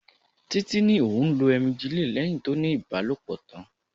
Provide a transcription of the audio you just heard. Títí ní òun lo "emgyl" lẹ́hìn tó ní ibalopo tán.